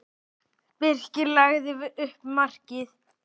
Birkir lagði upp markið.